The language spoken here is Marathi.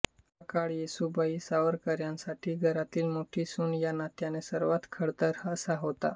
हा काळ येसूबाई सावरकरांसाठी घरातील मोठी सून या नात्याने सर्वात खडतर असा होता